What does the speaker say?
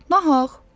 "Na haqq.